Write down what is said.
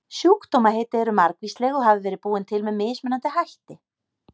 Sjúkdómaheiti eru margvísleg og hafa verið búin til með mismunandi hætti.